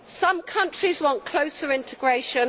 Some countries want closer integration